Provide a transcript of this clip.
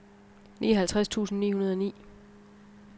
nioghalvtreds tusind ni hundrede og ni